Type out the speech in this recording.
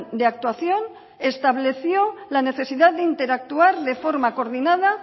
de actuación estableció la necesidad de interactuar de forma coordinada